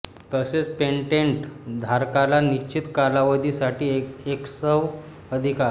तसेच पेटेंट धारकाला निश्चित कालावधि साठी एक्सव अधिकार